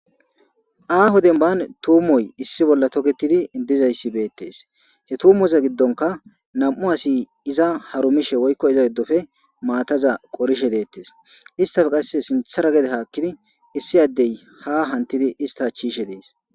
Aho denibanni tumoyi issi bolla tokettiddi dizayiss betees.hee tumozaa giddonikka nam''u asi izza harumishshe woyikko iza giddoppe matazza qorishshe de'ees.isitappe qasi sinththera haakidi issi adeyi haa hanittid isitta achchi yishshe dees.